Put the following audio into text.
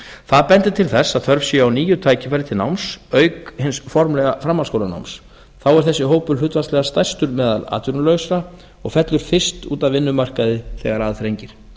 það bendir til þess að þörf sé á nýju tækifæri til náms auk hins formlega framhaldsskólanáms þá er þessi hópur hlutfallslega stærstur meðal atvinnulausra og fellur fyrst út af vinnumarkaði þegar að þrengir